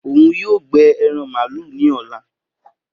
Oun yoo gbẹ eran malu ni ọla